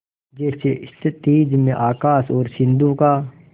जैसे क्षितिज में आकाश और सिंधु का